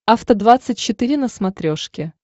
афта двадцать четыре на смотрешке